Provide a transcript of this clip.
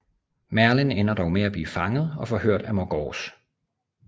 Merlin ender dog med at blive fanget og forhørt af Morgause